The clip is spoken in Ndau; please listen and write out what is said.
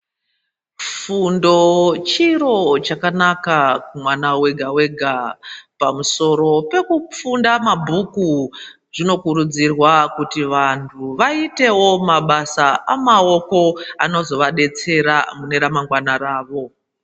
Fundo chiro chakanaka kumwana wega wega pamusoro pekufunda mabhuku zvinokurudzirwa kuti vanthu vaitewo mabasa emaoko anozovadetsera mune ramangwana ravo.